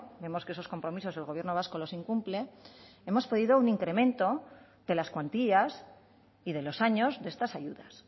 vemos que esos compromisos el gobierno vasco los incumple hemos pedido un incremento de las cuantías y de los años de estas ayudas